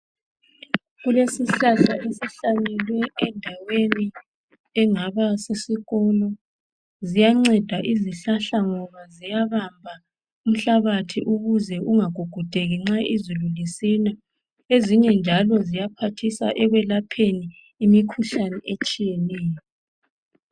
Kuleshlahla esihlanyelwe endaweni engaba sesikolo, ziyanceda izihlahla ngoba ziyabamba umhlabathi ukuze ungagugudeki nxa izulu lisina, ezinye njalo ziyaphayhisa ekwelapheni imikhuhlane etshiyeneyo.